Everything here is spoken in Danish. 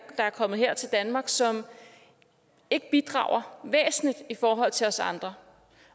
der er kommet her til danmark som ikke bidrager væsentligt i forhold til os andre